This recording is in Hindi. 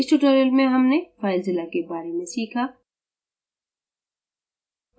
इस tutorial में हमनेfilezilla के बारे में सीखा